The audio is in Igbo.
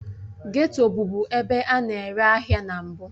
Geto bụbu ebe a na-ere ahịa na mbụ